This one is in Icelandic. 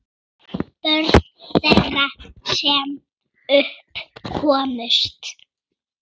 Börn þeirra, sem upp komust